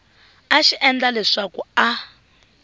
a xi endla leswaku a